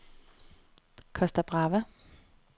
Costa Brava